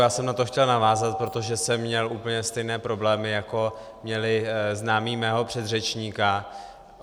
Já jsem na to chtěl navázat, protože jsem měl úplně stejné problémy, jako měli známí mého předřečníka.